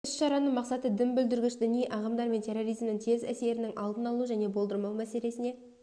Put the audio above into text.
іс-шараның мақсаты дін бүлдіргіш діни ағымдар мен терроризмнің теріс әсерінің алдын алу және болдырмау мәселесіне